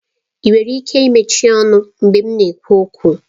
Ị nwere ike mechie ọnụ mgbe m na-ekwu okwu?